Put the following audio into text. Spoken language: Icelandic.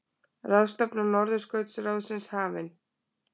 Ráðstefna Norðurskautsráðsins hafin